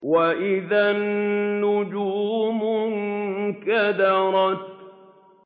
وَإِذَا النُّجُومُ انكَدَرَتْ